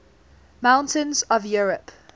mountains of europe